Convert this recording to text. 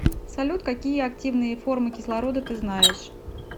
салют какие активные формы кислорода ты знаешь